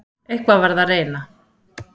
Eitthvað varð að reyna.